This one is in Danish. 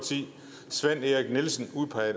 søren erik nielsen